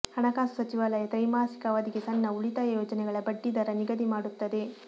ಹಣಕಾಸು ಸಚಿವಾಲಯ ತ್ರೈಮಾಸಿಕ ಅವಧಿಗೆ ಸಣ್ಣ ಉಳಿತಾಯ ಯೋಜನೆಗಳ ಬಡ್ಡಿದರ ನಿಗದಿ ಮಾಡುತ್ತದೆ